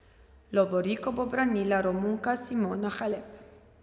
Lovoriko bo branila Romunka Simona Halep.